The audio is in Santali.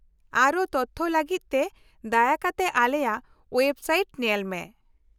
-ᱟᱨᱦᱚᱸ ᱛᱚᱛᱷᱚ ᱞᱟᱹᱜᱤᱫ ᱛᱮ ᱫᱟᱭᱟ ᱠᱟᱛᱮ ᱟᱞᱮᱭᱟᱜ ᱳᱭᱮᱵᱥᱟᱭᱤᱴ ᱧᱮᱞ ᱢᱮ ᱾